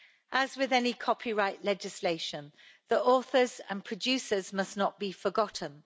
As with any copyright legislation, the authors and producers must not be forgotten.